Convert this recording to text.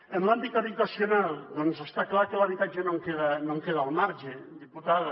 en l’àmbit habitacional està clar que l’habitatge no en queda al marge diputada